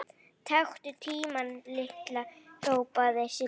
Taktu tímann Lilla! hrópaði Sibbi.